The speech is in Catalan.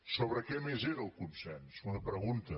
sobre què més era el consens una pregunta